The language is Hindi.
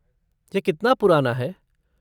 यह कितना पुराना है?